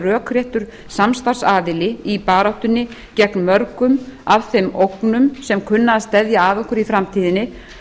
rökréttur samstarfsaðili í baráttunni gegn mörgum af þeim ógnum sem kunna að steðja að okkur í framtíðinni